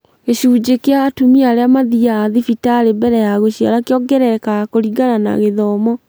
Gĩcunjĩ kĩa atumia arĩa mathiaga thibitarĩ mbele ya gũciara kĩongererekaga kũringana na gĩthomo